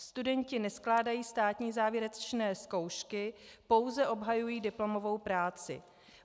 Studenti neskládají státní závěrečné zkoušky, pouze obhajují diplomovou práci.